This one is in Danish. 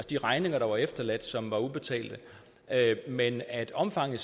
de regninger der var efterladt og som var ubetalte men at omfanget